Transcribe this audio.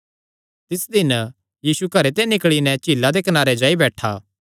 तिस दिन यीशु घरे ते निकल़ी नैं झीला दे कनारे जाई बैठा